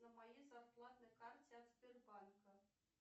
на моей зарплатной карте от сбербанка